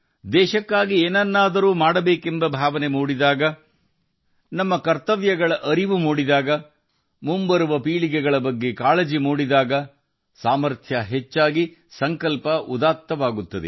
ದೇಶಕ್ಕಾಗಿ ಏನನ್ನಾದರೂ ಮಾಡಬೇಕೆಂಬ ಆಳವಾದ ಭಾವನೆ ತನ್ನ ಕರ್ತವ್ಯಗಳನ್ನು ಅರಿತುಕೊಳ್ಳುವುದು ಮುಂಬರುವ ಪೀಳಿಗೆಯ ಬಗ್ಗೆ ಕಾಳಜಿ ಇದ್ದಾಗ ಸಾಮರ್ಥ್ಯಗಳು ಕೂಡ ಸೇರಿಕೊಂಡು ಸಂಕಲ್ಪವು ಉದಾತ್ತವಾಗುತ್ತದೆ